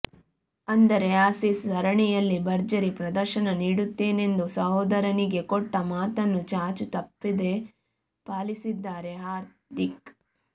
ಅಂದರೆ ಆಸೀಸ್ ಸರಣಿಯಲ್ಲಿ ಭರ್ಜರಿ ಪ್ರದರ್ಶನ ನೀಡುತ್ತೇನೆಂದು ಸಹೋದರನಿಗೆ ಕೊಟ್ಟ ಮಾತನ್ನು ಚಾಚೂ ತಪ್ಪದೇ ಪಾಲಿಸಿದ್ದಾರೆ ಹಾರ್ದಿಕ್